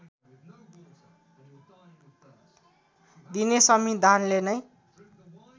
दिने संविधानले नै